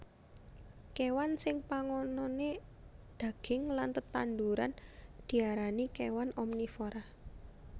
Kéwan sing pangononé daging lan tetanduran diarani kéwan omnivora